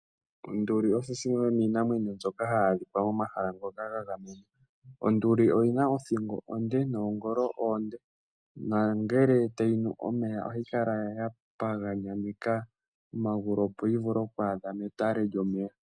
Onduli oyi yimwe yomiinamwenyo mbyoka hayi adhika momhala ngoka ga gamenwa. Onduli oyina othingo oonde noongolo oonde, nangele tayi nu omeya, ohayi kala ya pagananyeka omagulu opoyi vule oku adha metale lyomeya.